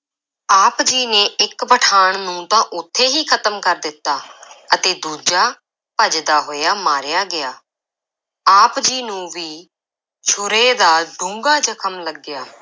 ਆਪ ਜੀ ਨੇ ਇੱਕ ਪਠਾਣ ਨੂੰ ਤਾਂ ਉੱਥੇ ਹੀ ਖਤਮ ਕਰ ਦਿੱਤਾ ਅਤੇ ਦੂਜਾ ਭੱਜਦਾ ਹੋਇਆ ਮਾਰਿਆ ਗਿਆ, ਆਪ ਜੀ ਨੂੰ ਵੀ ਛੁਰੇ ਦਾ ਡੂੰਘਾ ਜ਼ਖ਼ਮ ਲੱਗਿਆ।